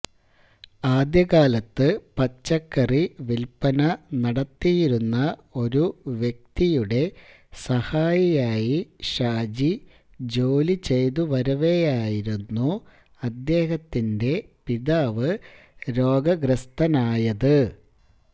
ആദ്യകാലത്ത് പച്ചക്കറി വില്പന നടത്തിയിരുന്ന ഒരു വ്യക്തിയുടെ സഹായിയായി ഷാജി ജോലി ചെയ്തുവരവെയായിരുന്നു അദ്ദേഹത്തിന്റെ പിതാവ് രോഗഗ്രസ്ഥനായത്